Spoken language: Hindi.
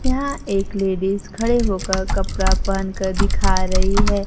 यहां एक लेडिस खड़े होकर कपड़ा पहन कर दिखा रही है।